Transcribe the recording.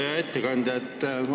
Hea ettekandja!